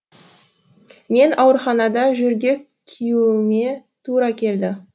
мен ауруханада жөргек киюіме тура келді